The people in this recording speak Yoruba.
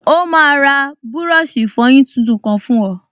Ó máa ra búrọ̀ṣì ìfọyín tuntun kan fún ọ